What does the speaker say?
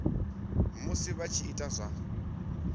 musi vha tshi ita zwa